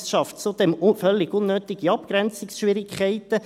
Es schafft zudem völlig unnötige Abgrenzungsschwierigkeiten.